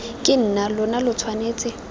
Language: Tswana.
ke nna lona lo tshwanetse